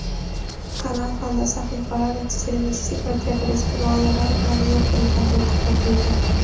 kanal hamda sahifalar ekstremistik va terroristik g‘oyalar bilan yo‘g‘rilgan deb topilgan.